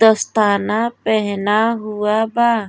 दस्ताना पहना हुआ बा।